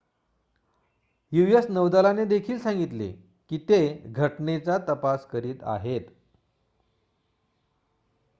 US नौदलाने देखील सांगितले की ते घटनेचा तपास करीत आहेत